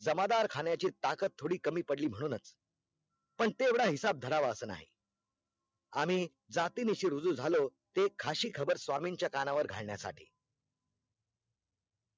जमादार खाण्याची ताकद थोडी कमी पडली म्हणूनच पण तेवढा हीसाब धरावा अस नाही आम्ही जाती नीशी रुजू झालो, ते खाशी खबर स्वामीच्या कानावर घालण्यासाठी